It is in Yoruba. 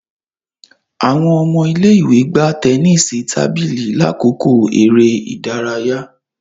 Awọn ọmọ ile-iwe gbà tẹnisi tábìlì lakoko eré ìdárayá